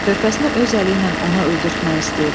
Körpəsini öz əli ilə ona öldürtmək istəyirdi.